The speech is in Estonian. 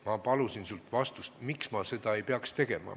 Ma palusin sult vastust, miks ma seda ei peaks tegema.